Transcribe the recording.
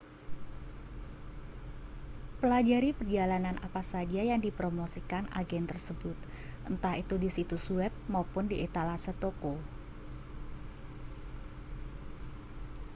pelajari perjalanan apa saja yang dipromosikan agen tersebut entah itu di situs web maupun di etalase toko